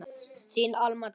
Þín Alma Dröfn.